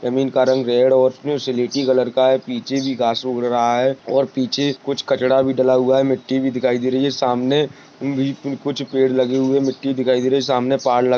जमीन का रंग रेड और कलर का हैपीछे भी गास उग रहा है और पीछे कुछ कचरा भी डला हुआ है मिट्टी भी दिखाई दे रही है सामने कुछ पेड लगे हुए है मिट्टी दिखाए दे रही है सामने पा--